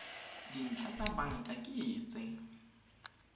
dintlha tsa banka ke tse